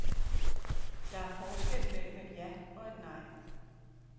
Der er forskel mellem et ja og et nej.